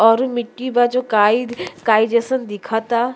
औरु मिट्टी बा जो काईद काई जइसन दिखता।